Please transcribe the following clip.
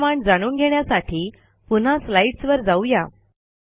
पुढील कमांड जाणून घेण्यासाठी पुन्हा स्लाईडस वर जाऊ या